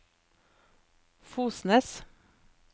Fosnes